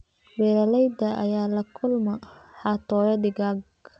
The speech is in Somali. Beeralayda ayaa la kulma xatooyo digaag.